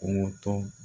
Kungo to